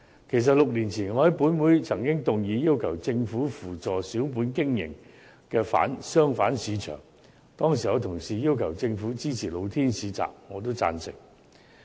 其實，我於6年前曾在本會動議議案，要求政府扶助小本經營的商販市場，當時有同事要求政府支持露天市集，我也贊成。